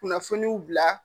Kunnafoniw bila